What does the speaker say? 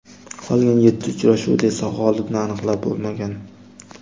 Qolgan yetti uchrashuvda esa g‘olibni aniqlab bo‘lmagan.